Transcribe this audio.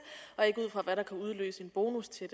og ikke ud fra hvad der kan udløse en bonus til